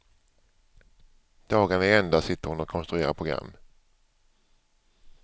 Dagarna i ända sitter hon och konstruerar program.